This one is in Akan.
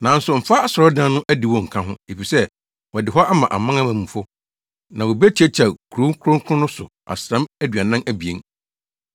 Nanso mfa asɔredan no adiwo nka ho, efisɛ wɔde hɔ ama amanamanmufo, na wobetiatia kurow kronkron no so asram aduanan abien.